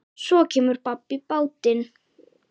Svo kemur babb í bátinn.